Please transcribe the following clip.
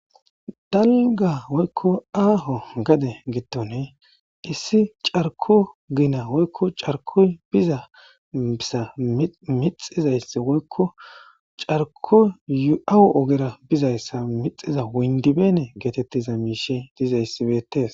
dallga woykko aaho gade gittone issi carko gina woykko carkoy biza bisa mixizaysse woykko carkoyu7awu ogera bizayssa mixiza woyndibeene geetettiza miishe diza issibeetes